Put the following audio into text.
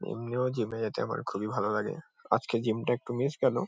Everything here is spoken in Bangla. এমনিও জিম -এ যেতে আমার খুবই ভালো লাগে। আজকে জিম -টা একটু মিস গেলো।